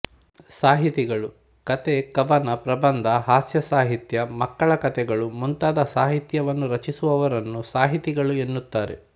ಸಾಹಿತಿಗಳು ಕಥೆಕವನಪ್ರಬಂಧಹಾಸ್ಯ ಸಾಹಿತ್ಯಮಕ್ಕಳ ಕಥೆಗಳು ಮುಂತಾದ ಸಾಹಿತ್ಯವನ್ನು ರಚಿಸುವವರನ್ನು ಸಾಹಿತಿಗಳು ಎನ್ನುತ್ತಾರೆ